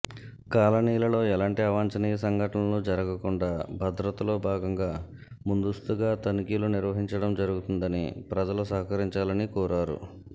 కాలనీలలో ఎలాంటి అవాంచనీయమైన సంఘటనలు జరగకుండా భద్రతలో భాగంగా ముందస్తుగా తనిఖీలు నిర్వహించడం జరగుతుందని ప్రజలు సహాకరించాలని కోరారు